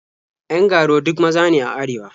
Yan ga-ruwa duk maza ne a arewa.